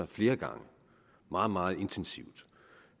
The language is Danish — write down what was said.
flere gange meget meget intensivt